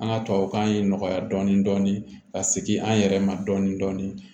An ka tubabukan ye nɔgɔya dɔɔnin dɔɔnin ka segin an yɛrɛ ma dɔɔni dɔɔni